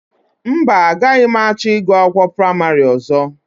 Mba, agaghị m achọ ịgụ akwụkwọ praịmarị ọzọ